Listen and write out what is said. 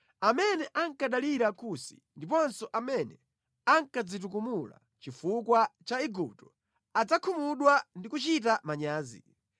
Amene ankadalira Kusi, ndiponso amene ankadzitukumula chifukwa cha Igupto adzakhumudwa ndi kuchita manyazi.